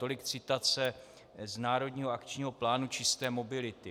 Tolik citace z Národního akčního plánu čisté mobility.